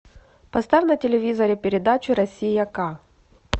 поставь на телевизоре передачу россия ка